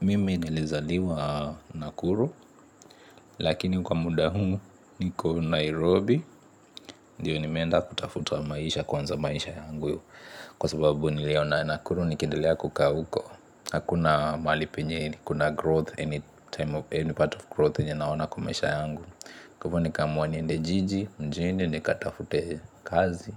Mimi nilizaliwa nakuru lakini kwa muda humu niko Nairobi. Ndiyo nimeenda kutafuta maisha kwanza maisha yangu. Kwa sababu niliona nakuru nikindilea kukaa uko. Hakuna mahali penye ni kuna growth anytime of any part of growth yenye naona kwa maisha yangu. Kwa ivo nikaamua niende jiji, mjini nikatafute kazi.